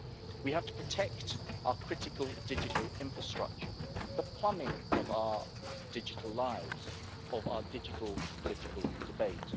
We have to protect our critical digital infrastructure, the plumbing of our digital lives, of our digital political debate.